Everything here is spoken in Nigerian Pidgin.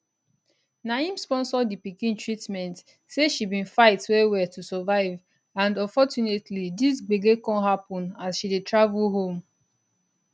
na im sponsor di pikin treatment say she bin fight wellwell to survive and unfortunately dis gbege come happun as she dey travel home